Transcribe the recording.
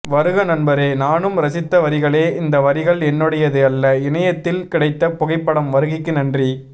வருக நண்பரே நானும் ரசித்த வரிகளே இந்த வரிகள் என்னுடையது அல்ல இணையத்தில் கிடைத்த புகைப்படம் வருகைக்கு நன்றி